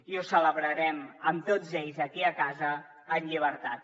i ho celebrarem amb tots ells aquí a casa en llibertat